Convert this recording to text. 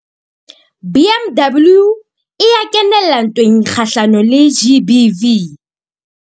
BMW e ya kenella ntweng kgahlanong le GBV.